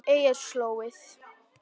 Eyjarslóð